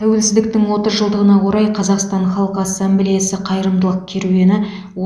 тәуелсіздіктің отыз жылдығына орай қазақстан халқы ассамблеясы қайырымдылық керуені